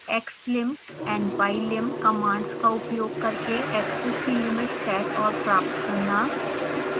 xlim and ylim commands का उपयोग करके axes की लिमिट सेट और प्राप्त करना